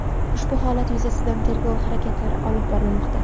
Ushbu holat yuzasidan tergov harakatlari olib borilmoqda.